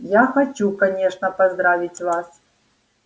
я хочу конечно поздравить вас